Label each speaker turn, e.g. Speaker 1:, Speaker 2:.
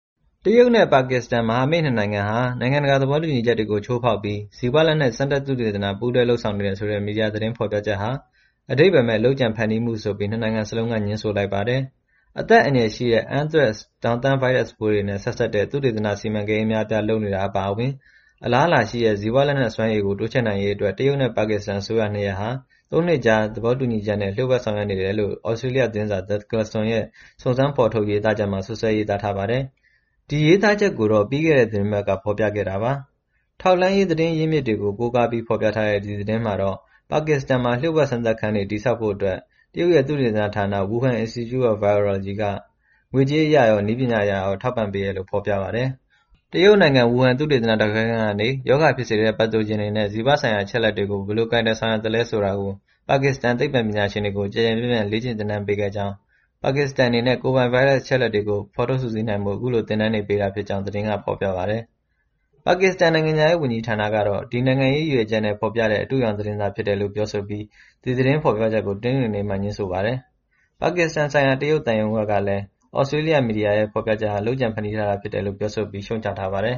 Speaker 1: တရုတ်နဲ့ ပါကစ္စတန် မဟာမိတ်နှစ်နိုင်ငံဟာ နိုင်ငံတကာ သဘောတူညီချက်တွေကို ချိုးဖောက်ပြီး ဇီဝလက်နက် စမ်းသပ်သုတေသန ပူးတွဲလုပ်ဆောင်နေတယ်ဆိုတဲ့ မီဒီယာ သတင်းဖော်ပြချက်ဟာ အဓိပ္ပာယ်မဲ့ လုပ်ကြံဖန်တီးမှုဆိုပြီး နှစ်နိုင်ငံစလုံးက ငြင်းဆိုလိုက်ပါတယ်။ အသက်အန္တရာယ်ရှိတဲ့ Anthrax ထောင့်သန်း ဗိုင်းရပ်စ်ပိုးတွေနဲ့ ဆက်စပ်တဲ့ သုတေသနစီမံကိန်း အများအပြား လုပ်နေတာ အပါအဝင် အလားအလာရှိတဲ့ ဇီဝလက်နက်စွမ်းရည်ကို တိုးချဲ့နိုင်ရေးအတွက် တရုတ်နဲ့ ပါကစ္စတန်အစိုးရ နှစ်ရပ်ဟာ သုံးနှစ်ကြာ သဘောတူညီချက်နဲ့ လျှို့ဝှက်ဆောင်ရွက်နေတယ်လို့ သြစတြေးလျသတင်းစာ The Klaxon ရဲ့ စုံစမ်းဖော်ထုတ် ရေးသားချက်မှာ စွပ်စွဲရေးသားထားပါတယ်။ ဒီရေးသားချက်ကိုတော့ ပြီးခဲ့တဲ့ သီတင်းပတ်က ဖော်ပြခဲ့တာပါ။ ထောက်လှမ်းရေး သတင်းရင်းမြစ်တွေကို ကိုးကားပြီး ဖော်ပြထားတဲ့ ဒီသတင်းမှာတော့ ပါကစ္စတန်မှာ လျှို့ဝှက်စမ်းသပ်ခန်းတွေ တည်ထောင်ဖို့အတွက် တရုတ်ရဲ့ သုတေသနဌာန Wuhan Institute of Virology က ငွေကြေးအရရော နည်းပညာအရရော ထောက်ပံ့ပေးတယ်လို့ ဖော်ပြပါတယ်။ တရုတ်နိုင်ငံ ဝူဟန် သုတေသန ဓာတ်ခွဲခန်းကနေ ရောဂါဖြစ်စေတဲ့ Pathogens တွေနဲ့ ဇီဝဆိုင်ရာ အချက်အလက်တွေကို ဘယ်လိုကိုင်တွယ် ဆောင်ရွက်သလဲ ဆိုတာကို ပါကစ္စတန် သိပ္ပံပညာရှင်တွေကို ကျယ်ကျယ်ပြန့်ပြန့် လေ့ကျင့်သင်တန်းပေးခဲ့ကြောင်း၊ ပါကစ္စတန်အနေနဲ့ ကိုယ်ပိုင် ဗိုင်းရပ်စ် အချက်အလက်တွေ ဖော်ထုတ် စုစည်းနိုင်ဖို့ အခုလို သင်တန်းတွေ ပေးတာဖြစ်ကြောင်း သတင်းက ဖော်ပြပါတယ်။ ပါကစ္စတန် နိုင်ငံခြားရေးဝန်ကြီးဌာနကတော့ နိုင်ငံရေး ရည်ရွယ်ချက်နဲ့ ဖော်ပြတဲ့ အတုအယောင်သတင်းသာ ဖြစ်တယ်လို့ ပြောဆိုပြီး ဒီသတင်းဖော်ပြချက်ကို တနင်္ဂနွေနေ့မှာ ငြင်းဆိုပါတယ်။ ပါကစ္စတန်ဆိုင်ရာ တရုတ်သံရုံးဘက်ကလည်း သြစတြေးလျ မီဒီယာရဲ့ ဖော်ပြချက်ဟာ လုပ်ကြံဖန်တီးထားတာ ဖြစ်တယ်လို့ ပြောဆိုပြီး ရှုတ်ချထားပါတယ်